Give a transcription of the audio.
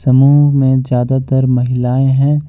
समूह में ज्यादातर महिलाएं हैं।